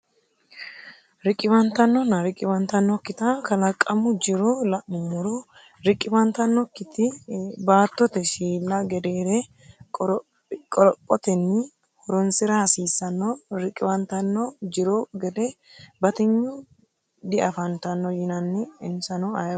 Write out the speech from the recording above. Riqiwantannonna riqiwantannokkita kalaqamu jiro la’nummoro riqiwantannokkiti baattote shiilla gedeere qorophotenni horonsi’ra hasiissanno Riqiwantanno jiro gede batinyunni diafantanno yinani insano ayioti?